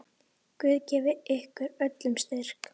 Guð gefi ykkur öllum styrk.